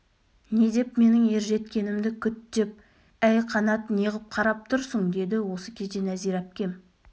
не деп менің ер жеткенімді күт деп әй қанат неғып қарап тұрсың деді осы кезде нәзира әпкем